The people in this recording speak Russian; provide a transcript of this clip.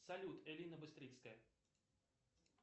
салют элина быстрицкая